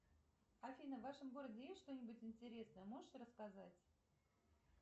афина в вашем городе есть что нибудь интересное можешь рассказать